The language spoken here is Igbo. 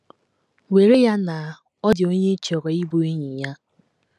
Were ya na ọ dị onye ị chọrọ ịbụ enyi ya.